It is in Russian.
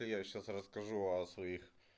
я сейчас расскажу о своих